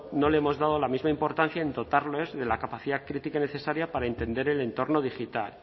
no le hemos dado la misma importancia en dotarles de la capacidad crítica necesaria para entender el entorno digital